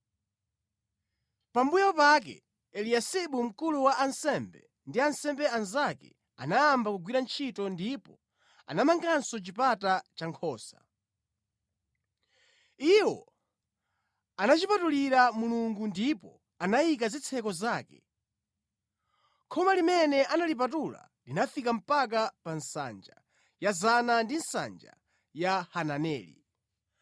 Pambuyo pake Eliyasibu mkulu wa ansembe ndi ansembe anzake anayamba kugwira ntchito ndipo anamanganso Chipata cha Nkhosa. Iwo anachipatulira Mulungu ndipo anayika zitseko zake. Khoma limene analipatula linafika mpaka pa Nsanja ya Zana ndi Nsanja ya Hananeli.